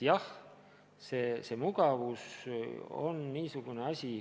Jah, see mugavus on halb.